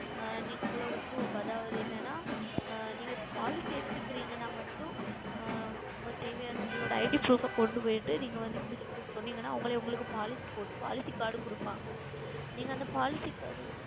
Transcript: ஆஹ் நீங்கள் உங்களுடைய Proff அதாவது என்ன என்றால் நீங்கள் Policy எடுத்து கொல்லுகிறீர்கள் என்றால் மட்டும் உங்களுக்கு தேவையான உங்கள் ID Proff கொண்டு சென்று நீங்கள் வந்து இப்படி சொன்னீர்கள் என்றால் அவர்களே உங்களுக்கு Policy போட்டு Policy உம் கொடுப்பார்கள் நீங்கள் அந்த Policy Card